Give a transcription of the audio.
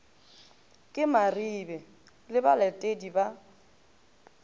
ke maribe le balatedi ba